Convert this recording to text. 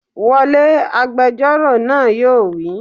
Wọlé!, agbẹjọ́rò náà yóò wí